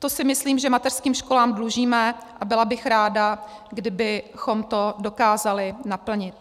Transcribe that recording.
To si myslím, že mateřským školám dlužíme, a byla bych ráda, kdybychom to dokázali naplnit.